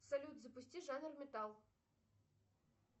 салют запусти жанр металл